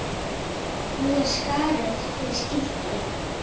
Nú er skarð fyrir skildi.